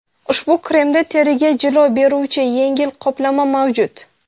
Ushbu kremda teriga jilo beruvchi yengil qoplama mavjud.